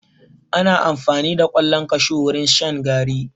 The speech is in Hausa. Ana amfani da ƙwallon kashu wurin shan garri.